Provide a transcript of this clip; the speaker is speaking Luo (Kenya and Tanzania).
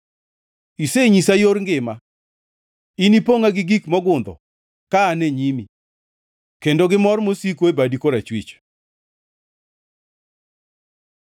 Isenyisa yor ngima; inipongʼa gi mor mogundho ka an e nyimi, kendo gi mor mosiko e badi korachwich.